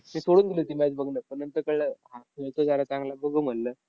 मी सोडून दिली होती match बघणं. पण नंतर कळलं, हा खेळतोय जरा चांगला बघू म्हणलं.